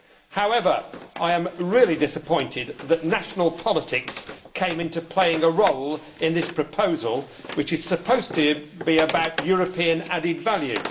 However, I am really disappointed that national politics came to play a role in this proposal, which is supposed to be about European added value.